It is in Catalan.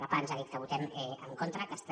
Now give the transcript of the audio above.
la pah ens ha dit que votem en contra aquesta